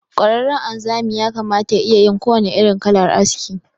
Ƙwararren anzami yakamata ya iyayin kowannen irin kalar aski.